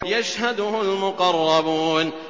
يَشْهَدُهُ الْمُقَرَّبُونَ